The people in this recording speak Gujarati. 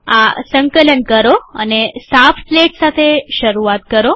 આ સંકલન કરો અને સાફ સ્લેટ સાથે શરૂઆત કરો